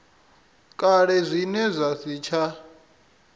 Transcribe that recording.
kale zwine zwa si tsha